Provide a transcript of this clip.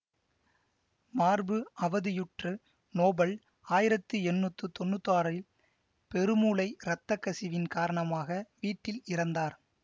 மார்பு அவதியுற்று நோபல் ஆயிரத்தி எண்ணூத்து தொன்னூத்தி ஆறில் பெருமூளை இரத்த கசிவின் காரணமாக வீட்டில் இறந்தார்